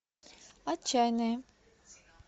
отчаянные